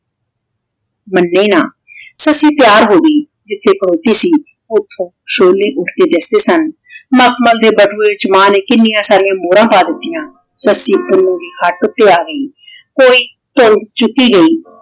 ਮੰਨੀ ਨਾਂਹ। ਸੱਸੀ ਤਿਆਰ ਹੋ ਗਈ ਜਿੱਥੇ ਖਲੋਤੀ ਸੀ ਓਥੋਂ ਸੋਲੀ ਉੱਠ ਕੇ ਦਿਖਦੇ ਸਨ । ਮਖਮਲ ਦੇ ਬਟੂਏ ਚ ਮਾਂ ਨੇ ਕਿੰਨੀਆਂ ਸਾਰੀਆਂ ਮੋਹਰਾਂ ਪਾ ਦਿੱਤੀਆਂ। ਸੱਸੀ ਪੁੰਨੂੰ ਦੀ ਹੱਟ ਉੱਤੇ ਆ ਗਈ ਕੋਈ ਧੌਣ ਚੁੱਕੀ ਗਈ।